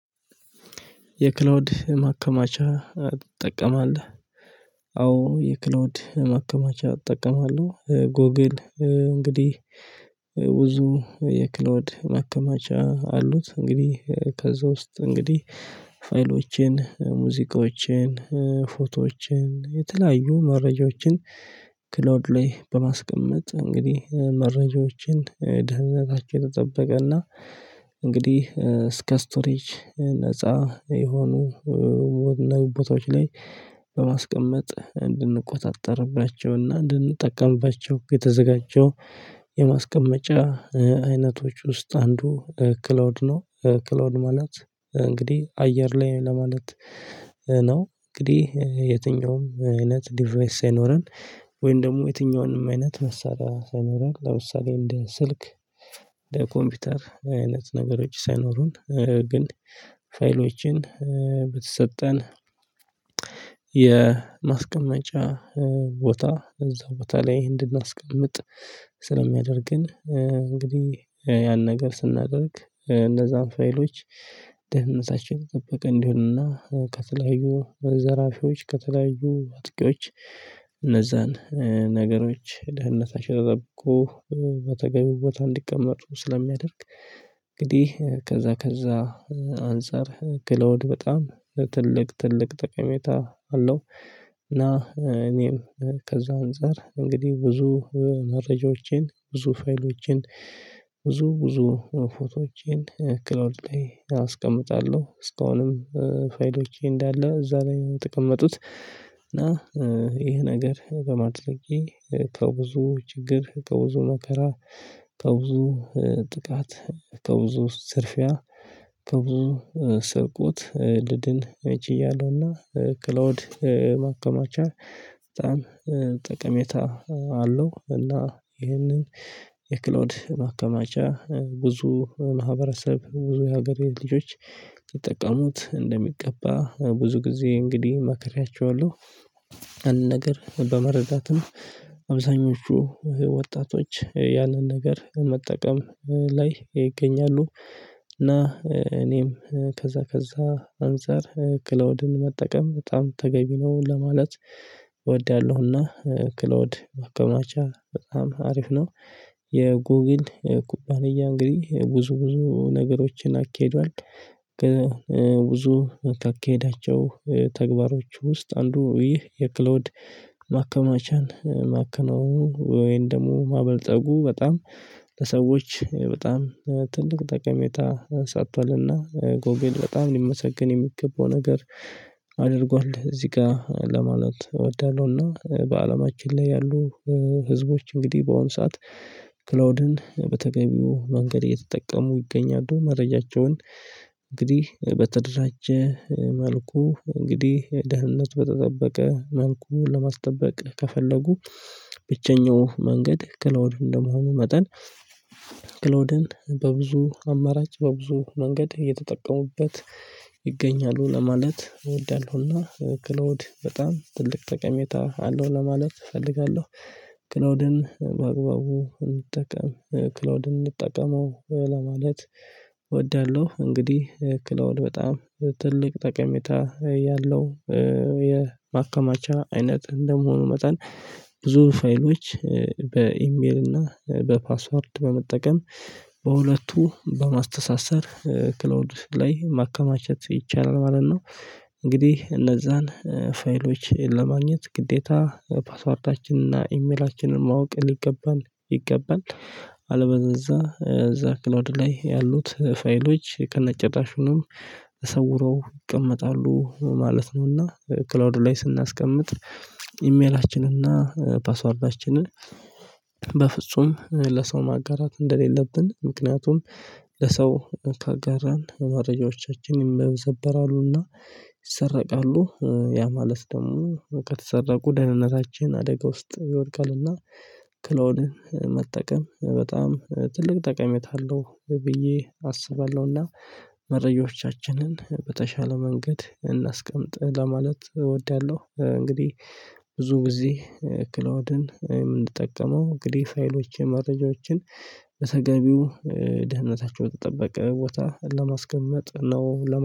የክላውድ ማከማቻ ትጠቀማለህ? አዎ የክላውድ ማከማቻ እጠቀማለሁ። ጎግል እንግዲህ ብዙ የክሎድ መከማቻ አሉት። እንግዲህ ከዛ ውስጥ እንግዲህ ፋይሎቼን ሙዚቃዎቼን ፎቶዎችን የተለያዩ መረጃዎችን ክሎድ ላይ በማስቀመጥ እንግዲህ መረጃዎችን ድህነታቸውን ተጠበቀና። እንግዲህ እስከ ስቶሪጅ ነፃ የሆኑ ወደ እናይ ቦታዎች ላይ በማስቀመጥ እንድንቆጣጠርባቸውና እንድንጠቀምባቸው የተዘጋጀው የማስቀመጫ አይነቶች ውስጥ አንዱ ክላውድ ነው። ክሎድ ማለት እንግዲህ አየር ላይ ለማለት ነው። እንግዲህ የትኛውም አይነት ዲቫይስ ሳይኖረን ወይም ደግሞ የትኛውንም አይነት መሳሪያ ሳይኖረን ለምሳሌ እንደ ስልክ ለኮምፒውተር አይነት ነገሮች ሳይኖሩን ግን ፋይሎችን ብትሰጠን። የማስቀመጫ ቦታ እዛው ቦታ ላይ እንድናስቀምጥ ስለሚያደርግን እንግዲህ ያን ነገር ስናደርግ እነዛን ፋይሎች ደህንነታችን የተጠበቀ እንዲሆንና ከተለያዩ ዘራፊዎች ከተለያዩ አጥቂዎች እነዛን ነገሮች ደህንነት አሸረብቆ በተገቢው ቦታ እንዲቀመጡ ስለሚያደርግ። እንግዲህ ከዛ ከዛ አንፃር ክለውድ በጣም ትልቅ ትልቅ ጠቀሜታ አለው። እና እኔም ከዛ አንፃር እንግዲህ ብዙ መረጃዎችን ብዙ ፋይሎችን ብዙ ብዙ ፎቶዎችን ክሎድሌ ላይ አስቀምጣለሁ። እስካሁንም ፋይሎቼ እንዳለ እዛ ላይ የተቀመጡት እና ይሄ ነገር በማድረጌ ከብዙ ችግር ከብዙ መከራ ከብዙ ጥቃት ከብዙ ዝርፊያ። በብዙ ስርቆት ልድን ችያለሁና ክሎውድ ማከማቻ በጣም ጠቀሜታ አለው። እና ይህንን የክሎድ ማከማቻ ብዙ ማህበረሰብ ብዙ የሀገሬ ልጆች ይጠቀሙት እንደሚገባ ብዙ ጊዜ እንግዲህ መከሪያቸዋለሁ። አንድ ነገር በመረዳትም አብዛኞቹ ወጣቶች ያንን ነገር መጠቀም ላይ ይገኛሉ። እና እኔም ከዛ ከዛ አንፃር ክሎድን መጠቀም በጣም ተገቢ ነው ለማለት እወዳለሁና ክሎድ ማከማቻ በጣም አሪፍ ነው። የጉግል ኩባንያ እንግዲህ ብዙ ብዙ ነገሮችን አኬዷል ብዙ ካኬዳቸው ተግባሮች ውስጥ አንዱ ይህ የክሎድ ማከማቻን ማከናወኑ ወይን ደግሞ ማበልጠጉ በጣም ለሰዎች በጣም ትልቅ ጠቀሜታ ሰቷልና ጎግል በጣም ሊመሰግን የሚገባው ነገር አድርጓል። እዚህ ጋር ለማለት እወዳለሁ። እና በአለማችን ላይ ያሉ ህዝቦች እንግዲህ በአሁኑ ሰዓት ክላውድን በተገቢው መንገድ እየተጠቀሙ ይገኛሉ መረጃቸውን። እንግዲህ በተደራጀ መልኩ እንግዲህ ደህንነት በተጠበቀ መልኩን ለማስጠበቅ ከፈለጉ ብቸኛው መንገድ ክላውድ እንደመሆኑ መጠን። ክሎደን በብዙ አማራጭ በብዙ መንገድ እየተጠቀሙበት ይገኛሉ ለማለት እወዳለሁና። ክሎድ በጣም ትልቅ ጠቀሜታ አለው ለማለት እፈልጋለሁ። ክላውድን በአግባቡ እንጠቀም ክላውድን እንጠቀመው ለማለት እወዳለሁ። እንግዲህ ክለቡ በጣም ትልቅ ጠቀሜታ እያለሁ የማከማቻ አይነት እንደመሆኑ መጠን ብዙ ፋይሎች በኢሜል እና በፓስወርድ በመጠቀም በሁለቱ በማስተሳሰር ክላውድ ላይ ማከማቸት ይቻላል ማለት ነው። እንግዲህ እነዛን ፋይሎች ለማግኘት ግዴታ ፓስወርዳችንና ኢሜላችንን ማወቅ ሊገባን ይገባል። አለበለዛ እዛ ክሎድ ላይ ያሉት ፋይሎች ከነ ጭራሽኑ ተሰውረው ይቀመጣሉ ማለት ነውና። ክላውድ ላይ ስናስቀምጥ ኢሜላችንን እና ፓስወርዳችንን በፍጹም ለሰው ማጋራት እንደሌለብን ምክንያቱም ለሰው ካጋራን መረጃዎቻችን ይመነዘበራሉና። ይሰረቃሉ ያ ማለት ደግሞ በቃ ተሰረቁ ደህንነታችን አደጋ ውስጥ ይወድቃልና። ክሎድ መጠቀም በጣም ትልቅ ጠቀሜታ አለው ብዬ አስባለሁና። መረጃዎቻችንን በተሻለ መንገድ እናስቀምጥ ለማለት እወዳለሁ። እንግዲህ ብዙ ጊዜ ክሎድን የምንጠቀመው እንግዲህ ፋይሎች መረጃዎችን በተገቢው ድህነታቸው በተጠበቀ ቦታ ለማስቀመጥ ነው ለማለት